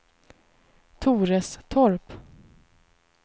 Torestorp